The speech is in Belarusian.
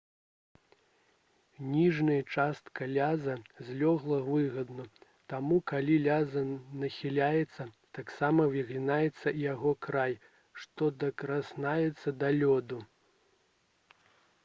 ніжняя частка ляза злёгку выгнута таму калі лязо нахіляецца таксама выгінаецца і яго край што дакранаецца да лёду